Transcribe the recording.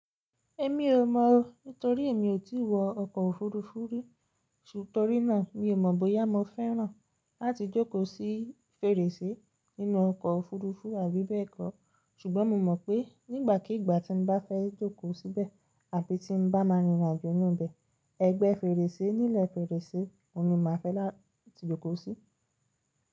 Èmi ò mọ̀ o. Nítorí èmi ò tí wọ ọkọ̀ òfurufú Nítorí náà mi ò mọ̀ bóyá mo fẹ́ràn láti jókòó sí fèrèsé nínú ọkọ̀ òfurufú àbí bẹ́ẹ̀ kọ́. Ṣùgbọ́n mo mọ̀ pé nígbàkigbà tí mo bá fẹ́ jókòó síbẹ̀ àbí tí mo bá máa rìn rìn àjò nínú rẹ̀, ẹgbẹ́ fèrèsé ní ilẹ̀ fèrèsé ni mo máa fẹ́ láti jókòó sí.